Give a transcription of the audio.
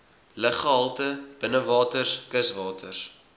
luggehalte binnewaters kuswaters